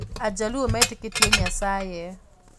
AJaluo metĩkĩtie Nyasaye.